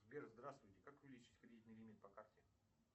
сбер здравствуйте как увеличить кредитный лимит по карте